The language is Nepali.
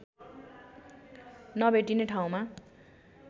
नभेटिने ठाउँमा